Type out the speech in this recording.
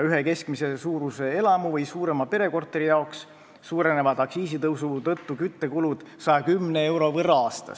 Ühe keskmise suurusega elamu või suurema pere korteri küttekulud suurenevad aktsiisitõusu tõttu 110 euro võrra aastas.